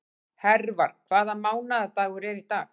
Hervar, hvaða mánaðardagur er í dag?